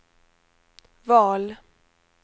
val